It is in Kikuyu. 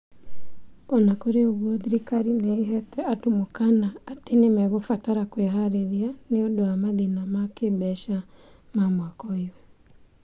O na kũrĩ ũguo, thirikari nĩ ĩheete andũ mũkaana atĩ nĩ mekũbatara kwĩharĩria nĩ ũndũ wa mathĩna ma kĩĩmbeca ma mwaka ũyũ.